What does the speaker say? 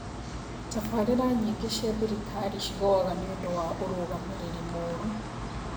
Tafaarĩra nyingĩ cia thirikari cigũaga nĩũndũ wa ũrũgamĩrĩri mũũrũ